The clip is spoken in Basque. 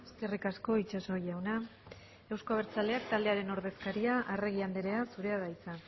eskerrik asko itxaso jauna euzko abertzaleak taldearen ordezkaria arregi andrea zurea da hitza